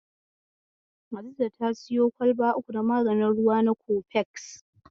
Hadiza ta siyo kwalba uku na maganin ruwa na kofeks.